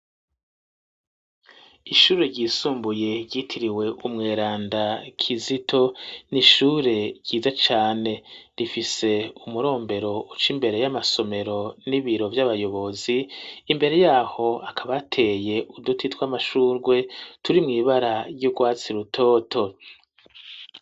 Ishure ryisumbuye ryitiriwe umweranda Kizito, ni ishure ryiza cane. Rifise umurombero uca imbere y'amasomero n'ibiro vy'abayobozi, imbere yaho hakaba hateye uduti tw'amashugwe turi mw'ibara ry'urwatsi rutoto.